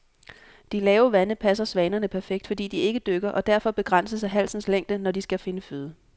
De lave vande passer svanerne perfekt, fordi de ikke dykker og derfor begrænses af halsens længde, når de skal finde føde.